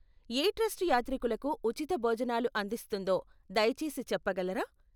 ఏ trust యాత్రికులకు ఉచిత భోజనాలు అందిస్తుందో దయచేసి చెప్పగలరా?